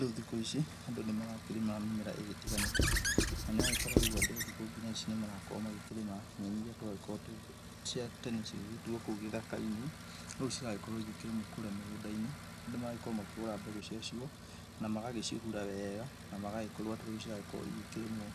Rĩu thikũ ici andũ nĩ marakĩrĩma mĩmera ĩgĩtiganĩte na nĩ ũragĩkora rĩu andũ thikũ ngina ici nĩ marakorwo magĩkĩrĩma nyenĩ iria twagĩkoragwo cia tene cigĩgĩtuwo kũu gĩthaka-inĩ rĩu ciragĩkorwo ĩgĩkĩrĩmwo kũrĩa mĩgũnda-inĩ. Andũ magagĩkorwo makĩgũra mbegũ ciacio na magagĩcohura wega na magagĩkorwo atĩ rĩu ciragĩkorwo ĩgĩkĩrĩmwo